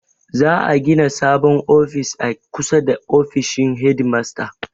Za'a gina sabon ofis a kusa da ofishin hedimasta.